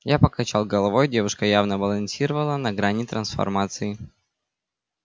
я покачал головой девушка явно балансировала на грани трансформации